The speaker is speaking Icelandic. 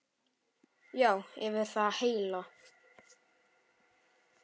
Já, yfir það heila.